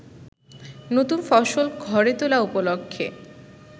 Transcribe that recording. নতুন ফসল ঘরে তোলা উপলক্ষে